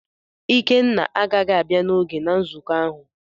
Ikenna agaghị abia n’oge na nzụkọ ahụ.